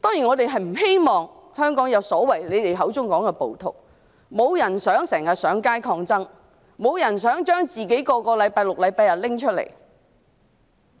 當然，我們不希望香港出現你們口中所說的暴徒，沒有人希望要經常上街抗爭，亦沒有人希望每逢星期六、日都要上街，